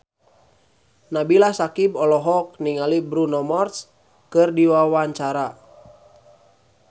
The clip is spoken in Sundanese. Nabila Syakieb olohok ningali Bruno Mars keur diwawancara